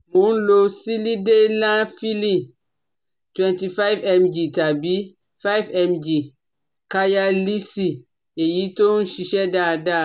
Mò ń lo Sílídenafíìlì twenty five mg tàbí five mg Káyálíìsì, èyí tó ń ṣiṣẹ́ dáada